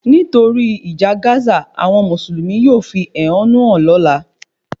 Nítorí ìjà Gazq, àwọn Mùsùlùmí yóò fi ehonu hàn lóla